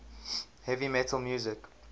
heavy metal music